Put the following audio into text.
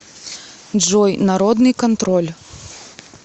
джой народный контроль